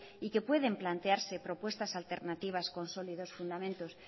y que pueden plantearse propuestas alternativas con sólidos fundamentos